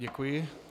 Děkuji.